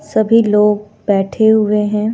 सभी लोग बैठे हुए हैं।